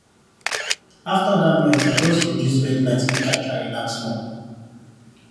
after that noise i just reduce bed light make i try relax small